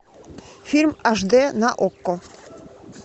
фильм аш дэ на окко